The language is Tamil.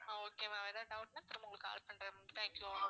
ஆஹ் okay ma'am ஏதாவது doubt னா திரும்ப உங்களுக்கு call பண்றேன் ma'am thank you ma'am